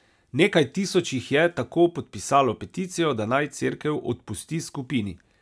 Nekaj tisoč jih je tako podpisalo peticijo, da naj cerkev odpusti skupini.